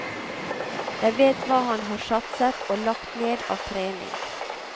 Jeg vet hva han har satset og lagt ned av trening.